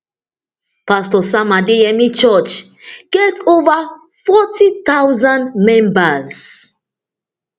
pastor sam adeyemi church get ova forty thousand members